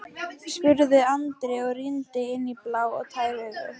spurði Andri og rýndi inn í blá og tær augun.